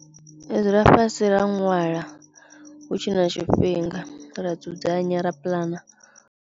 Ri dzula fhasi ra ṅwala hu tshe na tshifhinga ra dzudzanya, ra puḽana.